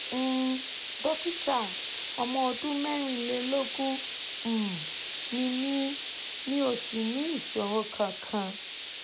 um dókítà ọmọ ọdún mẹ́rìnlélógún um ni mí mi ò sì ní ìṣòro kankan